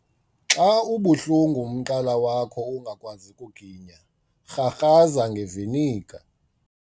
Xa ubuhlungu umqala wakho ungakwazi kuginya, rharhaza ngeviniga.